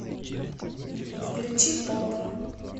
включи поп